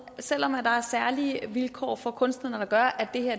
selv om der er særlige vilkår for kunstnere der gør at